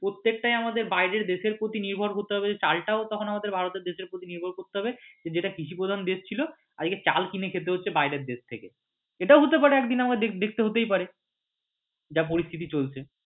প্রত্যেকটায় আমাদের বাইরের দেশের ওপর নির্ভর করতে হয় তবে চাল টাও তখন আমাদের ভারতের দেশের ওপরে নির্ভর করতে হবে যদি এটা কৃষিপ্রধান দেশ ছিল আজকে চাল কিনে খেতে হচ্ছে বাইরে থেকে এটাও হতে পারে একদিন আমাদের দেখতে হতেই পারে যা পরিস্থিতি চলছে।